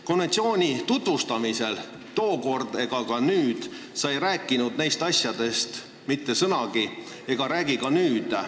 Konventsiooni tookord tutvustades ega ka nüüd sa ei rääkinud nendest asjadest mitte sõnagi.